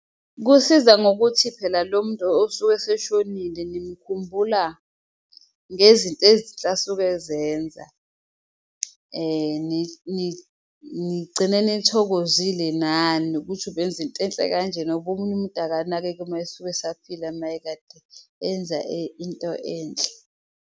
Kusiza ngokuthi phela lo muntu osuke eseshonile nimkhumbula ngezinto ezinhle asuke ezenza. Nigcine nithokozile nani ukuthi ubenza into enhle kanjena ngoba omunye umuntu akanakeki uma esuke esaphila mayekade enza into enhle.